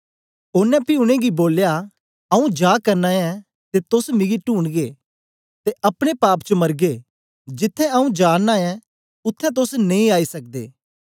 ओनें पी उनेंगी बोलया आऊँ जा करना ऐं ते तोस मिगी टूंढगे ते अपने पाप च मरगे जिथें आऊँ जाना ऐं उत्थें तोस नेई आई सकदे